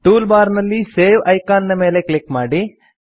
tool bar ನಲ್ಲಿ save icon ನ ಮೇಲೆ ಕ್ಲಿಕ್ ಮಾಡಿ